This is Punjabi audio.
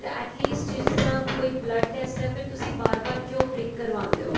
at least ਜਿਸ ਤਰ੍ਹਾਂ ਕੋਈ blood test ਹੈ ਤੇ ਫ਼ੇਰ ਤੁਸੀਂ ਬਾਰ ਬਾਰ ਕਿਉਂ prick ਕਰਵਾਉਦੇ ਓ